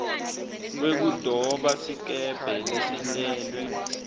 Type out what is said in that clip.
wekudoba sikebhe lesentelwe